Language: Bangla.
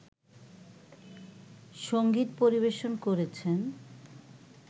সঙ্গীত পরিবেশন করেছেন